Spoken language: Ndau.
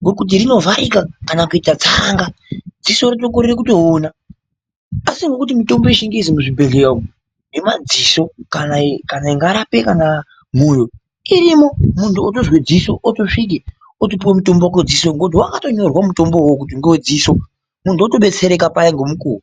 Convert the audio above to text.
Ngekuti rinovharika kana kuita tsanga. Dziso rinokorera kutoona, asi ngekuti mutombo wechingezi muzvibhedhleya umu yemadziso kana ingarapa kana mwoyo irimo. Muntu otozwa ziso otosvika otopuwa mutombo wake wedziso ngekuti wakatonyorwa mutombo uwowo kuti ngewedziso. Muntu otobetsereka payaa ngemukuwo.